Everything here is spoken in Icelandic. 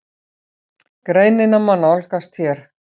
Greinina má nálgast hér.